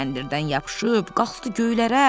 Kəndirdən yapışıb qalxdı göylərə.